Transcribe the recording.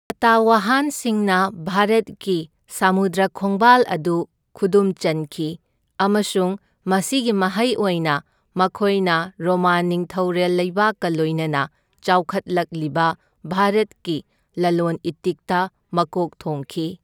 ꯁꯇꯋꯍꯥꯟꯁꯤꯡꯅ ꯚꯥꯔꯠꯀꯤ ꯁꯃꯨꯗ꯭ꯔ ꯈꯣꯡꯕꯥꯜ ꯑꯗꯨ ꯈꯨꯗꯨꯝ ꯆꯟꯈꯤ, ꯑꯃꯁꯨꯡ ꯃꯁꯤꯒꯤ ꯃꯍꯩ ꯑꯣꯏꯅ ꯃꯈꯣꯏꯅ ꯔꯣꯃꯥꯟ ꯅꯤꯡꯊꯧꯔꯦꯜ ꯂꯩꯕꯥꯛꯀ ꯂꯣꯏꯅꯅ ꯆꯥꯎꯈꯠꯂꯛꯂꯤꯕ ꯚꯥꯔꯠꯀꯤ ꯂꯂꯣꯟ ꯏꯇꯤꯛꯇ ꯃꯀꯣꯛ ꯊꯣꯡꯈꯤ꯫